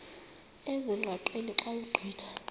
ezingqaqeni xa ugqitha